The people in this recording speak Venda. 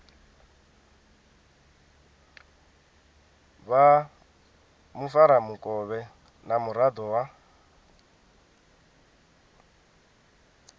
vha mufaramukovhe na muraḓo wa